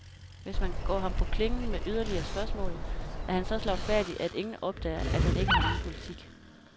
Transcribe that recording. Hvis man går ham på klingen med yderligere spørgsmål, er han så slagfærdig, at ingen opdager, at han ikke har nogen politik.